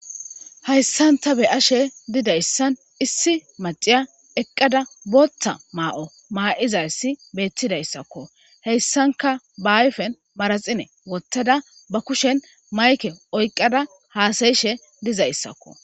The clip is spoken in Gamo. Hayisani ta beyashe didayisani issi maccara eqada batha mayo mayizayisikka betidayisakko hesanikka baa ayifeni manaxire woththada baa kushsheni mayikke oyikkada hasayashe dizayisakko